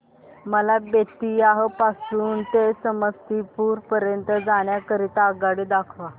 मला बेत्तीयाह पासून ते समस्तीपुर पर्यंत जाण्या करीता आगगाडी दाखवा